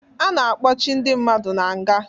A na-akpọchi ndị mmadụ na nga